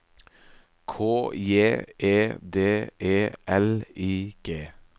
K J E D E L I G